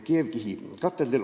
Kolm minutit lisaaega.